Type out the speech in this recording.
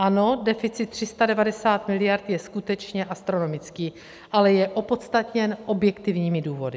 Ano, deficit 390 miliard je skutečně astronomický, ale je opodstatněn objektivními důvody.